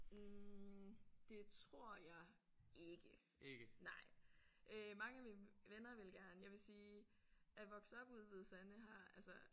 Hm det tror jeg ikke nej. Øh mange af mine venner ville gerne jeg vil sige at vokse op ude i Hvide Sande har altså